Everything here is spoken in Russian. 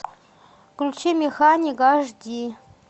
включи механик аш ди